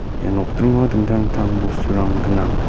ia nokdringo dingtang dingtang bosturang gnang.